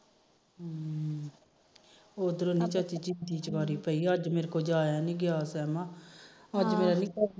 ਹਮ ਅੱਜ ਮੇਰੇ ਤੋ ਜਾਇਆ ਨੀ ਗਿਆ ਸੇਮਾ ਅੱਜ ਮੇਰਾ